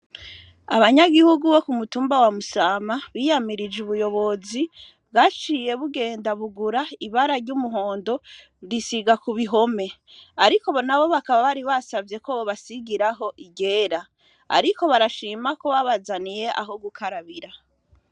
Abanyagihugu bo ku mutumba wa musama biyamirije ubuyobozi waciye bugenda bugura ibara ry'umuhondo risiga ku bihome, ariko bo na bo bakaba bari basavye ko bobasigiraho igera, ariko barashima ko babazaniye aho gukarabira.